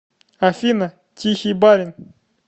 афина тихий барин